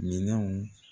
Minɛnw